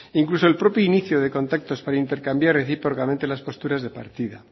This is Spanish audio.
incluso el propio inicio de contactos para intercambiar recíprocamente las posturas de partida